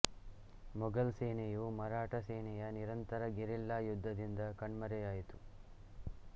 ಮೊಘಲ್ ಸೇನೆಯು ಮರಾಠ ಸೇನೆಯ ನಿರಂತರ ಗೆರಿಲ್ಲಾ ಯುದ್ಧದಿಂದ ಕಣ್ಮರೆಯಾಯಿತು